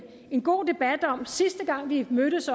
god debat om sidste gang vi mødtes